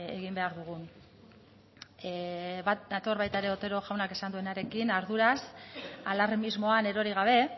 egin behar dugun bat nator ere otero jaunak esan duenarekin arduraz alarmismoan erori gabe